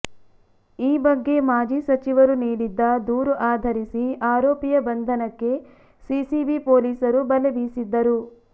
ಈ ಬಗ್ಗೆ ಮಾಜಿ ಸಚಿವರು ನೀಡಿದ್ದ ದೂರು ಆಧರಿಸಿ ಆರೋಪಿಯ ಬಂಧನಕ್ಕೆ ಸಿಸಿಬಿ ಪೊಲೀಸರು ಬಲೆ ಬೀಸಿದ್ದರು